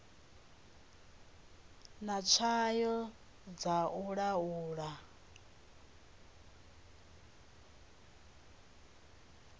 na tswayo dza u laula